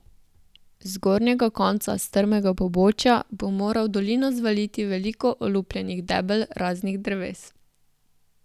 Z zgornjega konca strmega pobočja bo moral v dolino zvaliti veliko olupljenih debel raznih dreves.